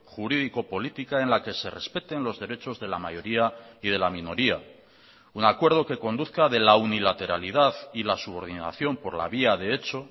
jurídico política en la que se respeten los derechos de la mayoría y de la minoría un acuerdo que conduzca de la unilateralidad y la subordinación por la vía de hecho